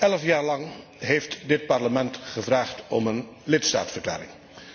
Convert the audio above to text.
Elf jaar lang heeft dit Parlement gevraagd om een lidstaatverklaring.